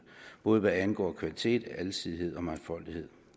både hvad angår kvalitet alsidighed og mangfoldighed